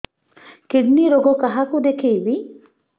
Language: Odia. କିଡ଼ନୀ ରୋଗ କାହାକୁ ଦେଖେଇବି